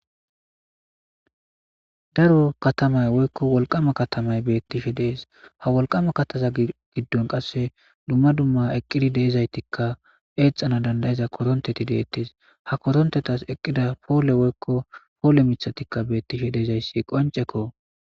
daro katamay woykko wolqama katamay beettishe dees ha wolqama kataza giddon qasse dumma dumma eqqidi deezaytikka eexxana dandayiza koronteti deettes ha korontetas eqqida poole woykko poole mithatikka beettishe deezayssi qonceko